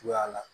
Cogoya la